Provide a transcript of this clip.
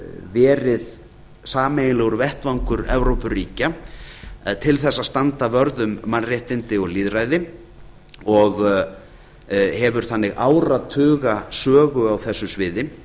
verið sameiginlegur vettvangur evrópuríkja en til þess að standa vörð um mannréttindi og lýðræði og hefur þannig áratuga sögu á þessu sviði